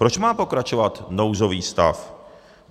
Proč má pokračovat nouzový stav?